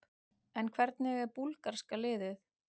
En hvernig er búlgarska liðið?